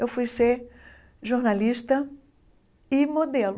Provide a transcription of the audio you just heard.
Eu fui ser jornalista e modelo.